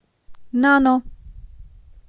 нано